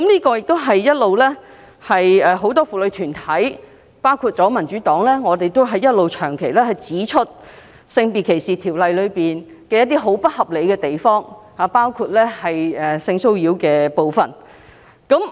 過去，很多婦女團體和民主黨一直指出《性別歧視條例》的不合理之處，包括有關性騷擾的條文。